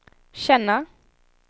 känna